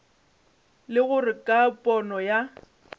le gore ka pono ya